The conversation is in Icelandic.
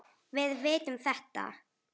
Við vitum þetta.